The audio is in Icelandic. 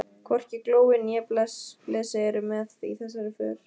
Hvorki Glói né Blesi eru með í þessari för.